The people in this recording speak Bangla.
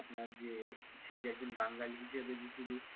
আপনার যে সে যে একজন বাঙালি হিসেবে যে শুধু,